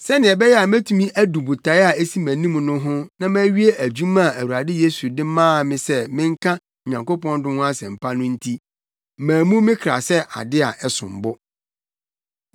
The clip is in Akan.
Sɛnea ɛbɛyɛ a metumi adu botae a esi mʼanim no ho na mawie dwuma a Awurade Yesu de maa me se menka Onyankopɔn dom ho asɛmpa no nti, mammu me kra sɛ ade a ɛsom bo.